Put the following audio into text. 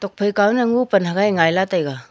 phaikaw nya ngopalt haigai ngaila taiga.